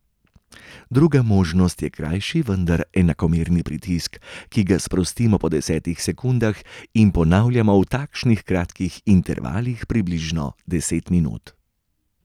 Druga možnost je krajši, vendar enakomerni pritisk, ki ga sprostimo po desetih sekundah in ponavljamo v takšnih kratkih intervalih približno deset minut.